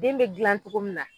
Den be dilan togo min na